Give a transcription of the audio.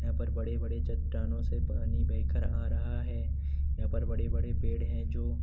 यहाँ पर बड़े बड़े चट्टानों से पानी बहकर आ रहा है यहाँ पर बड़े-बड़े पेड़ हैं जो --